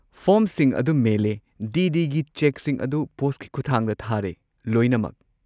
ꯐꯣꯔꯝꯁꯤꯡ ꯑꯗꯨ ꯃꯦꯜꯂꯦ, D. D. ꯒꯤ ꯆꯦꯛꯁꯤꯡ ꯑꯗꯨ ꯄꯣꯁꯠꯀꯤ ꯈꯨꯠꯊꯥꯡꯗ ꯊꯥꯔꯦ, ꯂꯣꯏꯅꯃꯛ꯫